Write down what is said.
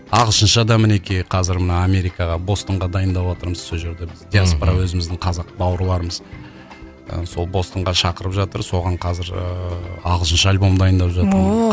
ағылшынша да мінекей қазір мына америкаға бостонға дайындаватырмыз сол жерде біз диаспора өзіміздің қазақ бауырларымыз ыыы сол бостонға шақырып жатыр соған қазір ыыы ағылшынша альбом дайындар жатырмыз ооо